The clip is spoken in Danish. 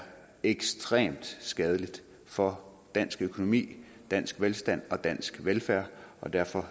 ekstremt skadeligt for dansk økonomi dansk velstand og dansk velfærd og derfor